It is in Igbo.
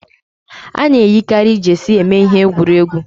Ana eyikari jeesi eme ihe egwuregwu